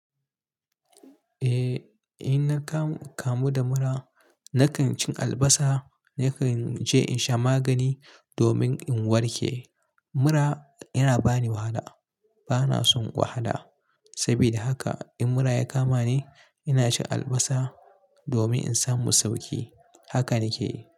Eh, in na kamu da mura, na kan cin albasa, na kan je in sha magani domin in warke. Mura yana bani wahala. Bana son wahala. Saboda haka in mura ya kama ni, ina cin albasa domin in samu sauƙi. Haka ni ke yi.